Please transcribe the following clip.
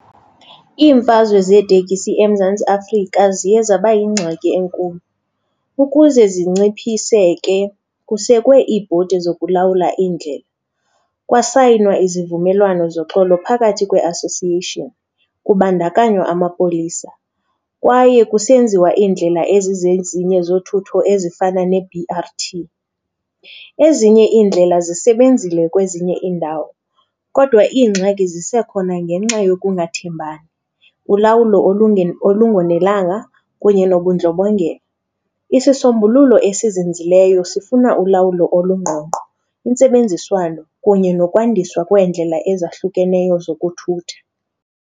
Imfazwe zeeteksi eMzantsi Afrika ziye zaba yingxaki enkulu. Ukuze zinciphiseke kusekwe iibhodi zokulawula indlela, kwasayinwa izivumelwano zoxolo phakathi kwe-association kubandakanywa amapolisa kwaye kusenziwa indlela ezizezinye zothutho ezifana ne-B_R_T. Ezinye iindlela zisebenzile kwezinye iindawo kodwa ingxaki zisekhona ngenxa yokungathembani, ulawulo olungonelanga kunye nobundlobongela. Isisombululo esizinzileyo sifuna ulawulo olungqongqo, intsebenziswano kunye nokwandiswa kweendlela ezahlukeneyo zokuthutha.